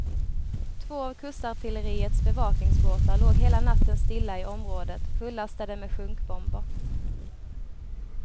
Två av kustartilleriets bevakningsbåtar låg hela natten stilla i området, fullastade med sjunkbomber.